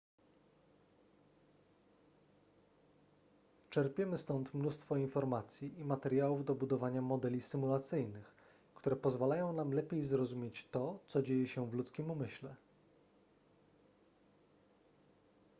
czerpiemy stąd mnóstwo informacji i materiałów do budowania modeli symulacyjnych które pozwalają nam lepiej zrozumieć to co dzieje się w ludzkim umyśle